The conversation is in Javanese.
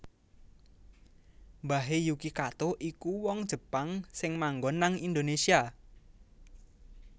Mbahe Yuki Kato iku wong Jepang sing manggon nang Indonesia